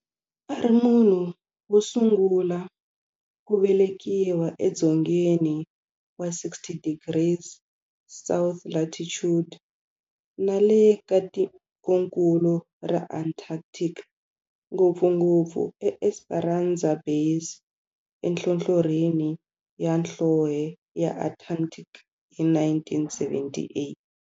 A ri munhu wosungula ku velekiwa e dzongeni wa 60 degrees south latitude nale ka tikonkulu ra Antarctic, ngopfungopfu eEsperanza Base enhlohlorhini ya nhlonhle ya Antarctic hi 1978.